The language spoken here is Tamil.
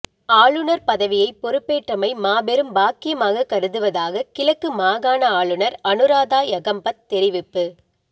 ஆளுநர் பதவியை பொறுப்பேற்றமை மாபெரும் பாக்கியமாக கருதுவதாக கிழக்கு மாகாண ஆளுநர் அனுராதா யகம்பத் தெரிவிப்பு